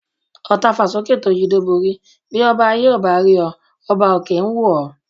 Ọ̀ tafà sókè tó yídó borí, bí ọba ayé ò rí ọ ọba òkè ń wò ọ́.